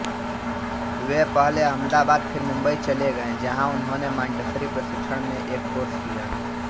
वे पहले अहमदाबाद फिर मुंबई चले गए जहाँ उन्होंने मॉन्टेसरी प्रशिक्षण में एक कोर्स किया